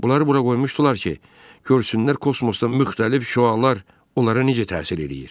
Bunları bura qoymuşdular ki, görsünlər kosmosda müxtəlif şüalar onlara necə təsir eləyir.